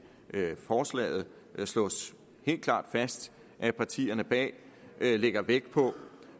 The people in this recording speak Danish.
forslaget slås helt klart fast at partierne bag lægger vægt på